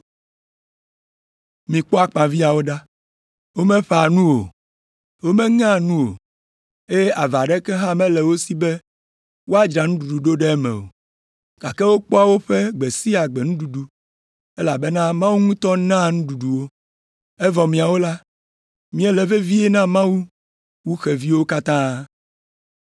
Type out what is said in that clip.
Mikpɔ akpaviãwo ɖa, womeƒã nu o, womeŋea nu o, eye ava ɖeka hã mele wo si be woadzra nuɖuɖu ɖo ɖe eme o, gake wokpɔa woƒe gbe sia gbe nuɖuɖu, elabena Mawu ŋutɔ naa nuɖuɖu wo. Evɔ miawo la, miele vevie na Mawu wu xeviwo katã!